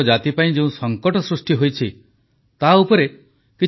unlock ପର୍ଯ୍ୟାୟରେ ସତର୍କ ଓ ସଚେତନ ରହିବା ପାଇଁ ଦେଶବାସୀଙ୍କୁ ପ୍ରଧାନମନ୍ତ୍ରୀଙ୍କ ନିବେଦନ